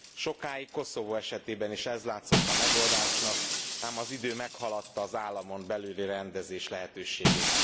Sokáig Koszovó esetében is ez látszott a megoldásnak, ám az idő meghaladta az államon belüli rendezés lehetőségét.